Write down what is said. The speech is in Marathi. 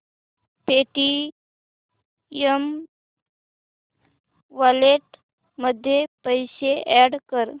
पेटीएम वॉलेट मध्ये पैसे अॅड कर